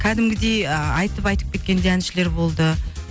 кәдімгідей айтып айтып кеткен де әншілер болды